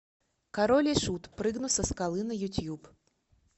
король и шут прыгну со скалы на ютуб